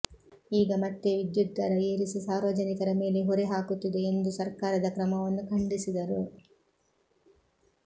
ಈಗ ಮತ್ತೆ ವಿದ್ಯುತ್ ದರ ಏರಿಸಿ ಸಾರ್ವಜನಿಕರ ಮೇಲೆ ಹೊರೆ ಹಾಕುತ್ತಿದೆ ಎಂದು ಸರ್ಕಾರದ ಕ್ರಮವನ್ನು ಖಂಡಿಸಿದರು